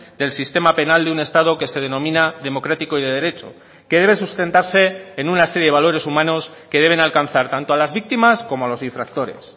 del sistema penal de un estado que se denomina democrático y de derecho que debe sustentarse en una serie de valores humanos que deben alcanzar tanto a las víctimas como a los infractores